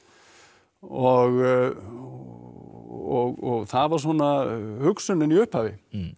og það var svona hugsunin í upphafi